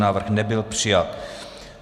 Návrh nebyl přijat.